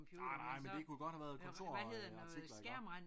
Nej nej men det kunne godt have været kontorartikler iggå